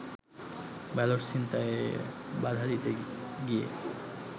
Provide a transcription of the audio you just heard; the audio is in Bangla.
ব্যালট ছিনতাইয়ে বাধা দিতে গিয়ে